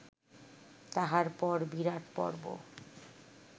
তাহার পর বিরাটপর্ব